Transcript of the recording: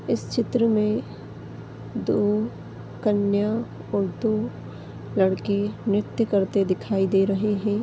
इस चित्र में दो कन्या और दो लड़के नृत्य करते दिखाई दे रहे हैं।